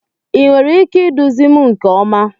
Ị nwere ike iduzi m nke ọma?